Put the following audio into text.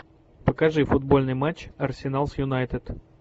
покажи футбольный матч арсенал с юнайтед